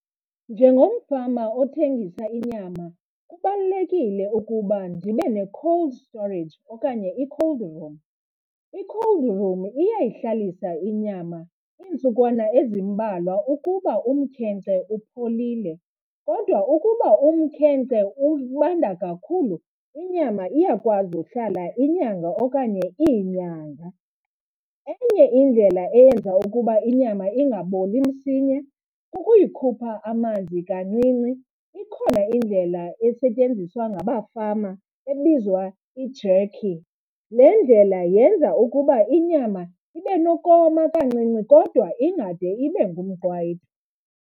Njengomfama othengisa inyama kubalulekile ukuba ndibe ne-cold storage okanye i-cold room. I-cold room iyayihlalisa inyama iintsukwana ezimbalwa ukuba umkhenkce upholile kodwa ukuba umkhenkce ubanda kakhulu inyama iyakwazi uhlala inyanga okanye iinyanga. Enye indlela eyenza ukuba inyama ingaboli msinya kukuyikhupha amanzi kancinci, ikhona indlela esetyenziswa ngabafama ebizwa i-jerky. Le ndlela yenza ukuba inyama ibe nokoma kancinci kodwa ingade ibe ngumqwayito.